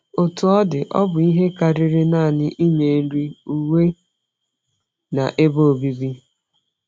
Otú ọ dị, ọ bụ ihe karịrị nanị inye nri, uwe na ebe obibi.